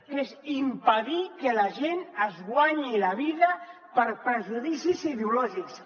que és impedir que la gent es guanyi la vida per prejudicis ideològics